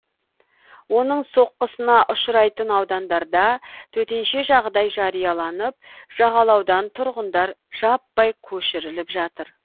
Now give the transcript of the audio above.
оның соққысына ұшырайтын аудандарда төтенше жағдай жарияланып жағалаудан тұрғындар жаппай көшіріліп жатыр